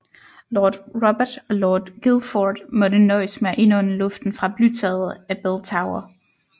Lord Robert og Lord Guildford måtte nøjes med at indånde luften fra blytaget af Bell Tower